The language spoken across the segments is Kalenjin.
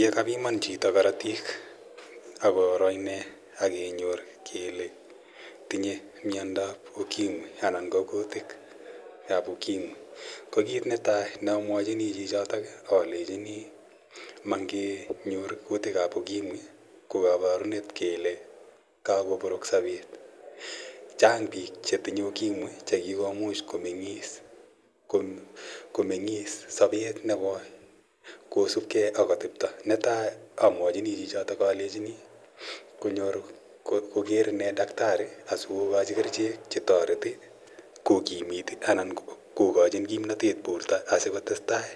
Ye kapiman chito karatik ak koro ine ak kenyor kele tinye miomdo ap Ukimwi anan ko kutiik ap Ukimwi. Ko kiit ne tai ne amwachini chichotok alechini ma ngenyor kutik ap Ukimwi ko kaparunet kele kakopek sapet. Chang' piik che tinye Ukimwi che kikomuch komeng'is sapet ne koi kosupgei ak atepta. Netai amwachini chichotok alechini konyor koler ine dakitari asikokachi kerichek che tareti kokimit anan ko kachin kimnatet porto asikotestai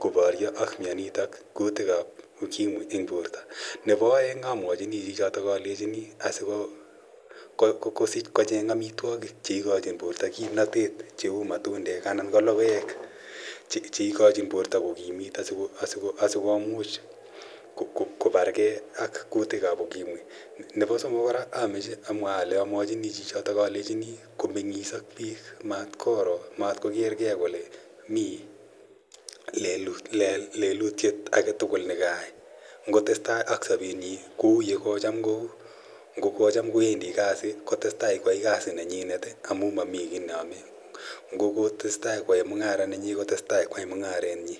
koparya ak mianitok, kutiik ap Ukimwi eng' porto. Nepo aeng' amwachini chichotok alechini asikosich ko cheng' amitwogik che ikachin porto kimnatet cheu matundek anan ko logoek che ikachin porto kokimit asikomuch koargei ak kutik ap Ukimwi. Nepo somok kora amche amwa ale amwachini chichotok komeng'is ak piik. Mat kokergei kole mi lelutyet age tugul ne kayai. Ngo tes tai ak sapenyi kou ye ko cham kou. Ngo kocham kowendi kasi, kotes tai koyai kasi nenyinet amu mami ki ne ame. Ngo kotese tai koyae mung'ara nenyinet, kotestai koyai mung'aret nyi.